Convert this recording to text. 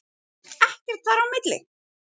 Ekkert þar á milli.